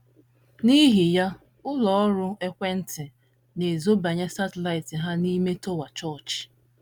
N’ihi ya, ụlọ ọrụ ekwe ntị na - ezobanye satellite ha n’ime tọwa chọọchị.